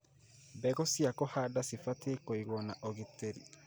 Mbegũ cia kũhanda nĩ cibatie kũigwo na ũgitĩri.